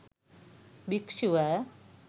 භික්ෂුව